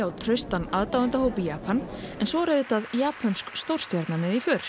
á traustan aðdáendahóp í Japan en svo er auðvitað japönsk stórstjarna með í för